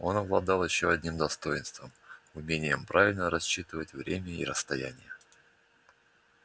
он обладал ещё одним достоинством умением правильно рассчитывать время и расстояние